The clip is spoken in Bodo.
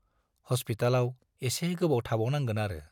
हस्पितालाव एसे गोबाव थाबावनांगोन आरो।